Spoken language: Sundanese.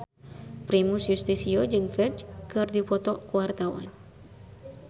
Primus Yustisio jeung Ferdge keur dipoto ku wartawan